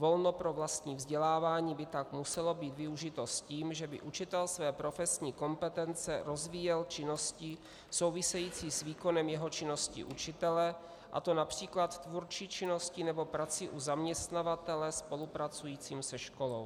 Volno pro vlastní vzdělávání by tak muselo být využito s tím, že by učitel své profesní kompetence rozvíjel činností související s výkonem jeho činnosti učitele, a to například tvůrčí činností nebo prací u zaměstnavatele spolupracujícího se školou.